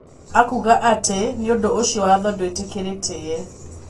Akuga ati nĩũndũ ũcio watho ndwitĩkĩrĩtie.